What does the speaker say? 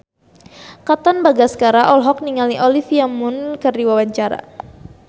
Katon Bagaskara olohok ningali Olivia Munn keur diwawancara